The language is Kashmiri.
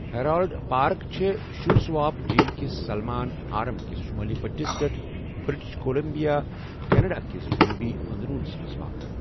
ہیرالڈ پارٕک چھےٚ شُوٗسُواپ جھیل کِس سلمان آرم کِس شُمٲلی بٔٹِھس پیٹھ ، بِرٛٹِش کولمبِیا، کیٚنَڑا کِس جٔنوٗبی أنٛدروُنس منٛز واقع۔